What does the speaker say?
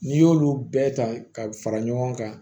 N'i y'olu bɛɛ ta ka fara ɲɔgɔn kan